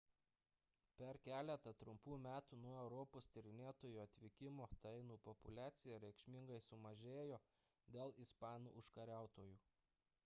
per keletą trumpų metų nuo europos tyrinėtojų atvykimo tainų populiacija reikšmingai sumažėjo dėl ispanų užkariautojų